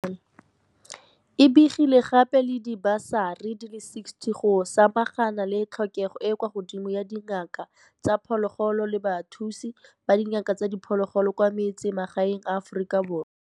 E begile gape le dibasari di le 60 go samagana le tlhokego e e kwa godimo ya dingaka tsa diphologolo le bathusi ba dingaka tsa diphologolo kwa metsemagaeng a Aforika Borwa.